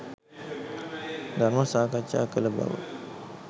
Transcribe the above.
ධර්ම සාකච්ඡා කළ බව